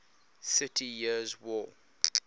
thirty years war